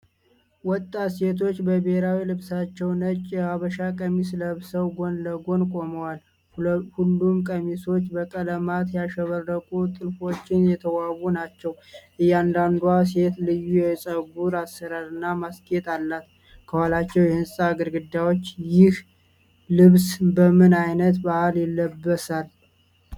ወጣት ሴቶች በብሔራዊ ልብሳቸው ነጭ የሀበሻ ቀሚስ ለብሰው ጎን ለጎን ቆመዋል። ሁሉም ቀሚሶች በቀለማት ያሸበረቁ ጥልፎች የተዋቡ ናቸው። እያንዳንዷ ሴት ልዩ የፀጉር አሰራርና ማስጌጫ አላት። ከኋላቸው የሕንፃ ግድግዳዎች ። ይህ ልብስ በምን አይነት በዓል ይለበሳል?